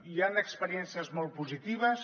hi han experiències molt positives